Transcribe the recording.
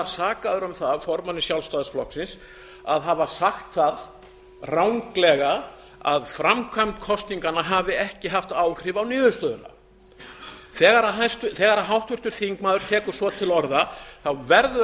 sakaður um það af formanni sjálfstæðisflokksins að hafa sagt það ranglega að framkvæmd kosninganna hafi ekki haft áhrif á niðurstöðuna þegar háttvirtur þingmaður tekur svo til orða verður